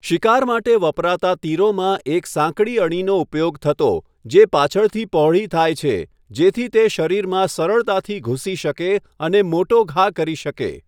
શિકાર માટે વપરાતા તીરોમાં એક સાંકડી અણીનો ઉપયોગ થતો જે પાછળથી પહોળી થાય છે, જેથી તે શરીરમાં સરળતાથી ઘૂસી શકે અને મોટો ઘા કરી શકે.